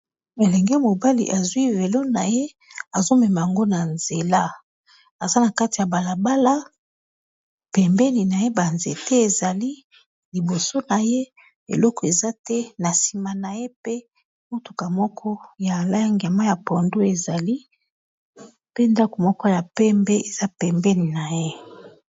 Elenge mobali azwi velo na ye azo mema ngo na nzela aza na kati ya bala bala pembeni na ye ba nzete ezali, liboso na ye eloko eza te. Na nsima na ye pe motuka moko ya langi ya mayi ya pondu, ezali pe ndako moko ya pembe eza pembeni na ye.